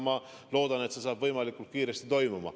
Ma loodan, et see toimub võimalikult kiiresti.